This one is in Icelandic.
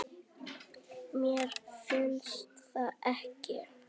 Mér finnst það ekki.